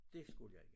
Dét skulle jeg ikke